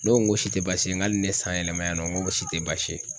Ne ko n ko nin si te baasi ye n k'ale ni ne ye san yɛlɛma yan nɔn, n ko o si te basi ye.